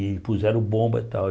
E puseram bomba e tal.